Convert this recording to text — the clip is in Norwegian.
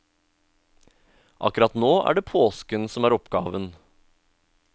Akkurat nå er det påsken som er oppgaven.